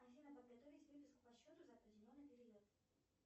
афина подготовить выписку по счету за определенный период